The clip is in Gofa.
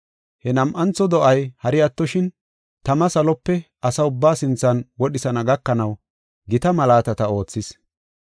He nam7antho do7ay hari attoshin, tama salope asa ubbaa sinthan wodhisana gakanaw gita malaatata oothis.